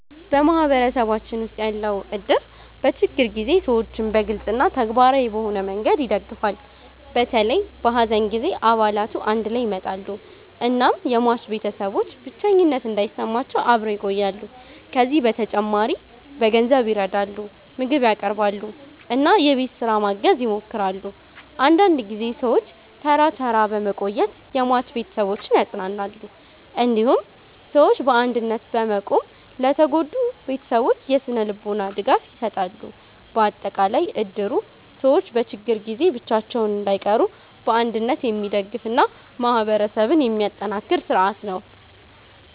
በማህበረሰባችን ውስጥ ያለው እድር በችግር ጊዜ ሰዎችን በግልጽ እና ተግባራዊ በሆነ መንገድ ይደግፋል። በተለይ በሐዘን ጊዜ አባላቱ አንድ ላይ ይመጣሉ እናም የሟች ቤተሰቦች ብቸኝነት እንዳይሰማቸው አብረው ይቆያሉ። ከዚህ በተጨማሪ በገንዘብ ይረዳሉ፣ ምግብ ያቀርባሉ እና የቤት ስራ ማገዝ ይሞክራሉ። አንዳንድ ጊዜ ሰዎች ተራ ተራ በመቆየት የሟች ቤተሰቦችን ያጽናናሉ። እንዲሁም ሰዎች በአንድነት በመቆም ለተጎዱ ቤተሰቦች የስነ-ልቦና ድጋፍ ይሰጣሉ። በአጠቃላይ እድሩ ሰዎች በችግር ጊዜ ብቻቸውን እንዳይቀሩ በአንድነት የሚደግፍ እና ማህበረሰብን የሚያጠናክር ስርዓት ነው።